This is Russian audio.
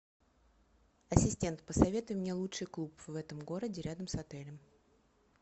ассистент посоветуй мне лучший клуб в этом городе рядом с отелем